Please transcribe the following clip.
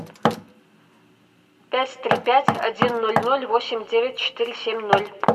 пять три пять один ноль ноль восемь девять четыре семь ноль